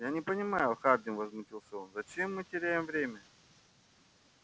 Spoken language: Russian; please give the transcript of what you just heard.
я не понимаю хардин возмутился он зачем мы теряем время